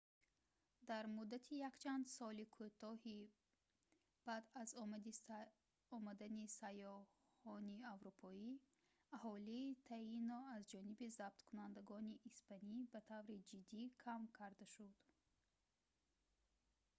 дар муддати якчанд соли кӯтоҳи баъд аз омадани сайёҳони аврупоӣ аҳолии таино аз ҷониби забткунандагони испанӣ ба таври ҷиддӣ кам карда шуд